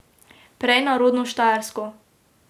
Prej na rodno Štajersko.